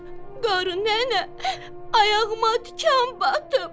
Qarı nənə, ayağıma tikan batıb.